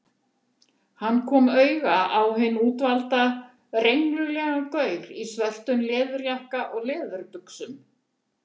Hann kom auga á hinn útvalda, renglulegan gaur í svörtum leðurjakka og leðurbuxum.